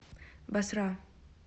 басра